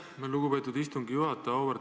Aitäh, lugupeetud istungi juhataja!